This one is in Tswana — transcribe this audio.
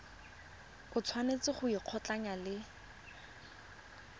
o tshwanetse go ikgolaganya le